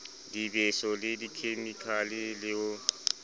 dibeso le dikhemikale le ho